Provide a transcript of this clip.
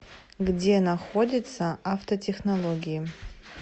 где находится автотехнологии